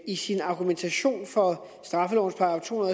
i sin argumentation for straffelovens § to